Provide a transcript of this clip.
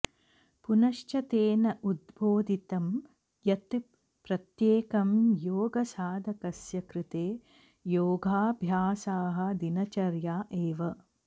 पुनश्च तेन उद्बोधितं यत् प्रत्येकं योगसाधकस्य कृते योगाभ्यासाः दिनचर्या एव